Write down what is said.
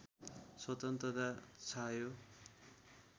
स्वतन्त्रता छायो